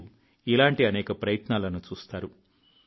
మీరు ఇలాంటి అనేక ప్రయత్నాలను చూస్తారు